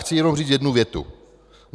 Chci jenom říct jednu větu.